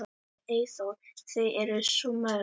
Eyþór: Þau eru svo mörg.